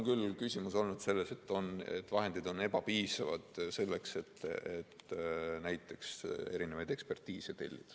Küll on küsimus olnud selles, et vahendid on ebapiisavad selleks, et näiteks ekspertiise tellida.